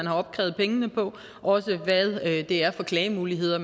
har opkrævet pengene på og også hvad det er for klagemuligheder